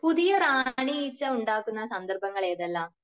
പുതിയ റാണി ഈച്ച ഉണ്ടാകുന്ന സന്ദർഭങ്ങൾ ഏതെല്ലാം?